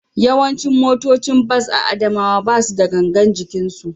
Yawancin motocin bas a Adamawa ba su da gangar jikinsu